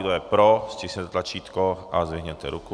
Kdo je pro, stiskněte tlačítko a zvedněte ruku.